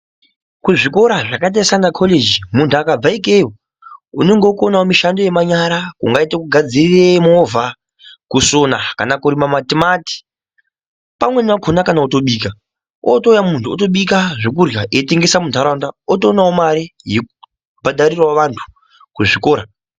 Kuzvikora zvakaita semakhoreji muntu akabva ikweyo unongokonawo mishando yemanyara ungaite kugadzire movha, kusona, kana kurime matimati. Pamweni pakhona kana kutobika, ootouya muntu otobika zvekurya eitengesa muntaraunda otoonawo mare yekubhadharirawo vantu kuzvikora.